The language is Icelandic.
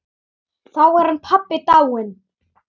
Þá er hann pabbi dáinn.